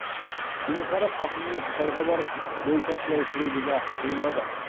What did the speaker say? кенесары қасымұлы қытайға барып бой тасалай тұруды да ойлады